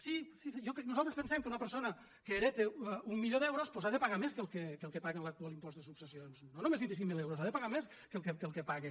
sí nosaltres pensem que una persona que hereta un milió d’euros doncs ha de pagar més que el que paga amb l’actual impost de successions no només vint cinc mil euros ha de pagar més que el que paga